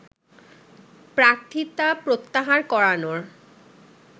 প্রার্থিতা প্রত্যাহার করানোর